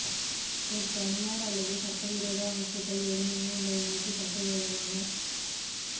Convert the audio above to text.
ஒரு தனியார் அல்லது சட்டவிரோத அமைப்புக்கள் வெறுமனே உங்களை நோக்கி சட்டவிரோதமான செயல்பட